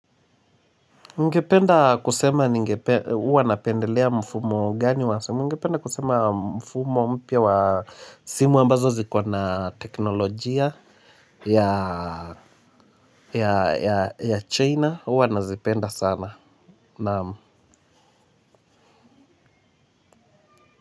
Ningependa kusema huwa napendelea mfumo gani wa somo. Ningependa kusema mfumo mpya wa simu ambazo ziko na teknolojia ya China. Huwa nazipenda sana. Naam.